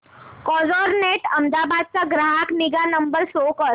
Carzonrent Ahmedabad चा ग्राहक निगा नंबर शो कर